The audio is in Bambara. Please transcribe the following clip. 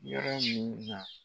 Yɔrɔ mun na